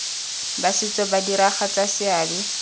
ba setso ba diragatsa seabe